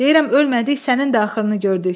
Deyirəm ölmədik sənin də axırını gördük.